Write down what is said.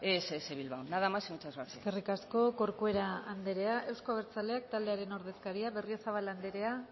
ess bilbao nada más y muchas gracias eskerrik asko corcuera anderea euzko abertzaleak taldearen ordezkaria